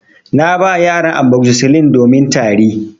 Na ba yaran amoxicillin domin Tari.